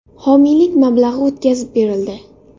Homiylik mablag‘i o‘tkazib berildi.